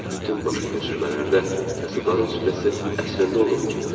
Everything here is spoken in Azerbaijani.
Bütün başqa köçürmələrdə kasıbların süfrəsi əslində olduğu kimidir.